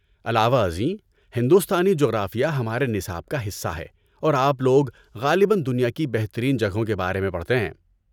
علاوہ ازیں، ہندوستانی جغرافیہ ہمارے نصاب کا حصہ ہے اور آپ لوگ غالباً دنیا کی بہترین جگہوں کے بارے میں پڑھتے ہیں!